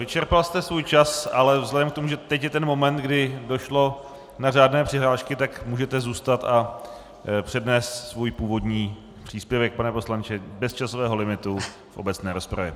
Vyčerpal jste svůj čas, ale vzhledem k tomu, že teď je ten moment, kdy došlo na řádné přihlášky, tak můžete zůstat a přednést svůj původní příspěvek, pane poslanče, bez časového limitu v obecné rozpravě.